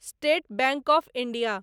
state bank of India